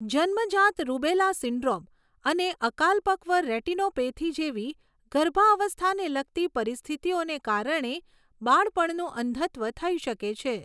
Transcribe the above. જન્મજાત rubella syndrome અને અકાલપક્વ રેટિનોપેથી જેવી ગર્ભાવસ્થાને લગતી પરિસ્થિતિઓને કારણે બાળપણનું અંધત્વ થઈ શકે છે.